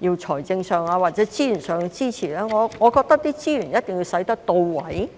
有財政或資源上的支持，我覺得資源一定要用得到位。